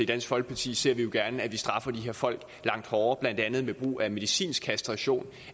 dansk folkeparti ser vi jo gerne at man straffer de her folk langt hårdere blandt andet ved brug af medicinsk kastration